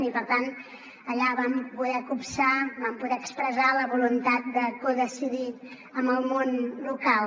i per tant allà vam poder copsar vam poder expressar la voluntat de codecidir amb el món local